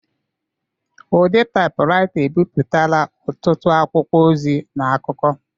Ụdị taipuraita ebipụtala ọtụtụ akwụkwọ ozi na akụkọ.